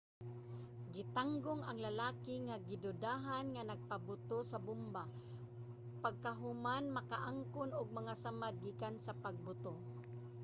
gitanggong ang lalaki nga gidudahan nga nagpaboto sa bomba pagkahuman makaangkon og mga samad gikan sa pagbuto